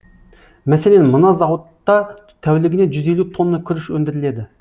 мәселен мына зауытта тәулігіне жүз елу тонна күріш өндіріледі